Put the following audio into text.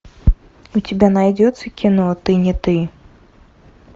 у тебя найдется кино ты не ты